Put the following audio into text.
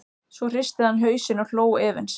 Svo hristi hann hausinn og hló efins.